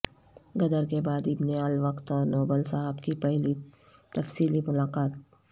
غدر کے بعد ابن الوقت اور نوبل صاحب کی پہلی تفصیلی ملاقات